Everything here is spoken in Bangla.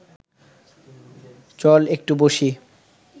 চল একটু বসি